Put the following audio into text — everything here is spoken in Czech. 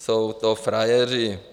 Jsou to frajeři.